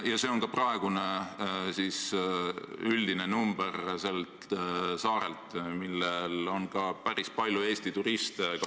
Ja see on praegune üldine näitaja tollel saarel, kus viibib ka päris palju Eesti turiste.